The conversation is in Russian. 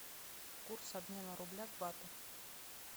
курс обмена рубля к бату